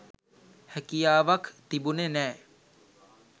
හැකියාවක් තිබුනෙ නෑ.